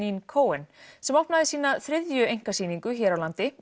Jeanine Cohen sem opnaði sína þriðju einkasýningu hér á landi